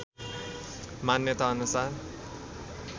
मान्यताअनुसार